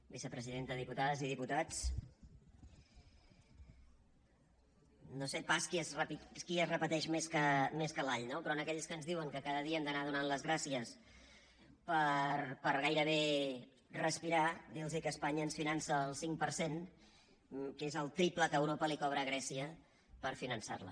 vicepresidenta diputades i diputats no sé pas qui es repeteix més que l’all no però a aquells que ens diuen que cada dia hem d’anar donant les gràcies per gairebé respirar dir los que espanya ens finança al cinc per cent que és el triple que europa li cobra a grècia per finançar la